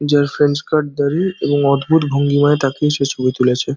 যার ফ্রেঞ্চকাট দাড়ি অদ্ভুত ভঙ্গিমায় দাঁড়িয়ে ছবি তুলছে ।